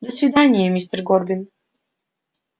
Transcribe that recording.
до свидания мистер горбин